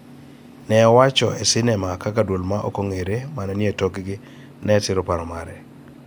ne owacho e sinema kaka duol ma ok ong�ere ma ne ni e tokgi ne siro paro mare.